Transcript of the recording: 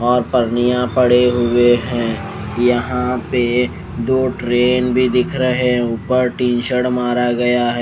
और परनिया पड़े हुए हैं यहां पे दो ट्रेन भी दिख रहे हैं ऊपर टीन शेड मारा गया है।